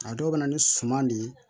A dɔw bɛ na ni suman de ye